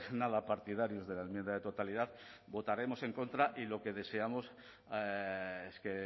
nada partidarios de la enmienda de totalidad votaremos en contra y lo que deseamos es que